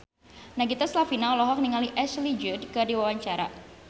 Nagita Slavina olohok ningali Ashley Judd keur diwawancara